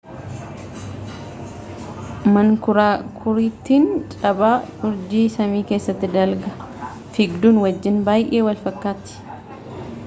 mankuraakurittiin cabaa urjii samii keessa dalga fiigduu wajjin baay'ee walfakkaatti